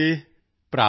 ਭਰਾ ਪ੍ਰੇਮ